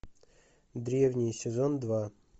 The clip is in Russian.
древние сезон два